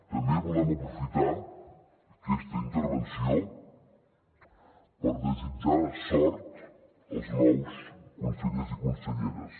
també volem aprofitar aquesta intervenció per desitjar sort als nous consellers i conselleres